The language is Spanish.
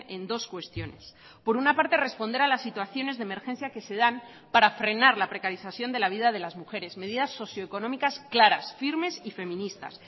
en dos cuestiones por una parte responder a las situaciones de emergencia que se dan para frenar la precarización de la vida de las mujeres medidas socioeconómicas claras firmes y feministas